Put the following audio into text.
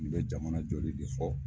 Nin bɛ jamana jɔli de fɔ.